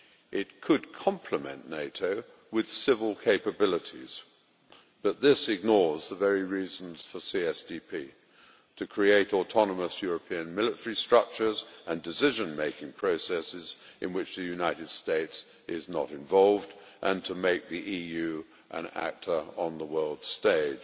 It could complement NATO with civil capabilities, but this ignores the very reasons for CSDP to create autonomous European military structures and decision making processes in which the United States is not involved, and to make the EU an actor on the world stage.